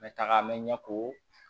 N bɛ taga n bɛ ɲɛko